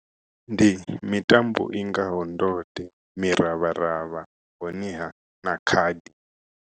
Ndi mitambo i ngaho ndode, miravharavha honeha na khadi.